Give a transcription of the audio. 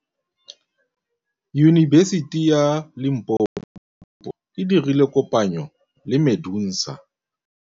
Yunibesiti ya Limpopo e dirile kopanyô le MEDUNSA.